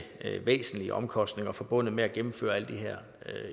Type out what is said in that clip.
væsentlige omkostninger forbundet med at gennemføre alle de her